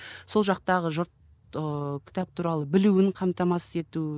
сол жақтағы жұрт ыыы кітап туралы білуін қамтамасыз ету